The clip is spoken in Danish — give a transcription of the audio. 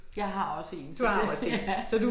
Jeg har også én så det ja